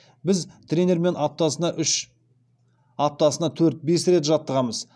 біз тренермен аптасына төрт бес рет жаттығамыз